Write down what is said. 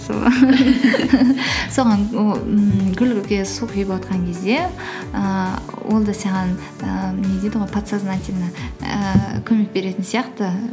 сол соған ммм гүлге су құйып отырған кезде ііі ол да саған ііі не дейді ғой подсознательно ііі көмек беретін сияқты